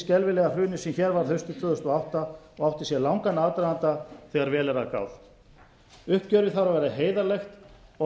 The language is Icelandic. skelfilega hruni sem hér varð hafið tvö þúsund og átta og átti sér langan aðdraganda þegar vel er að gáð uppgjörið þarf að vera heiðarlegt og